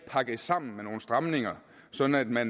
pakket sammen med nogle stramninger sådan at